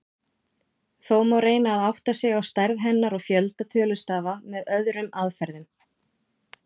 Þó má reyna að átta sig á stærð hennar og fjölda tölustafa með öðrum aðferðum.